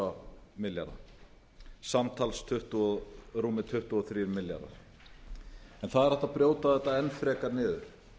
milljarðar samtals rúmir tuttugu og þrír milljarðar það er hægt að brjóta þetta enn frekar niður